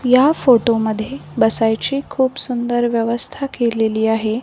या फोटो मध्ये बसायची खूप सुंदर व्यवस्था केलेली आहे.